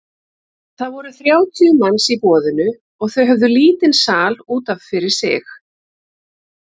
Það voru þrjátíu manns í boðinu og þau höfðu lítinn sal út af fyrir sig.